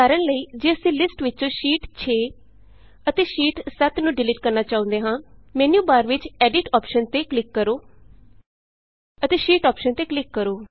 ਉਦਾਹਰਣ ਲਈ ਜੇ ਅਸੀਂ ਲਿਸਟ ਵਿਚੋਂ ਸ਼ੀਟ 6 ਸ਼ੀਟ 6 ਅਤੇ ਸ਼ੀਟ 7 ਸ਼ੀਟ 7 ਨੂੰ ਡਿਲੀਟ ਕਰਨਾ ਚਾਹੁੰਦੇ ਹਾਂ ਮੈਨਯੂਬਾਰ ਵਿਚੋਂ ਐਡਿਟ ਐਡਿਟ ਅੋਪਸ਼ਨ ਤੇ ਕਲਿਕ ਕਰੋ ਅਤੇ ਸ਼ੀਟ ਅੋਪਸ਼ਨ ਤੇ ਕਲਿਕ ਕਰੋ